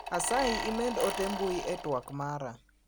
Asayi imed ote mbui e twak mara.